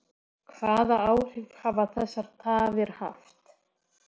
Hvaða áhrif hafa þessar tafir haft?